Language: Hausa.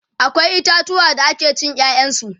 akwai itatuwa da ake cin ƴaƴan su